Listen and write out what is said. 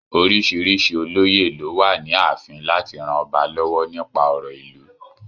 Oríṣìíríṣìí olóyè ló wà ní ààfin láti ran ọba lọ́wọ́ nípa ọ̀rọ̀ ìlú